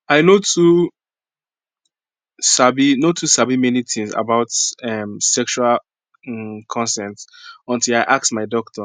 i no too sabi no too sabi many things about um sexual um consent until i ask my doctor